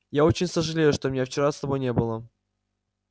я очень сожалею что меня вчера с тобой не было